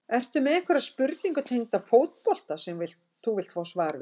Ertu með einhverja spurningu tengda fótbolta sem þú vilt fá svar við?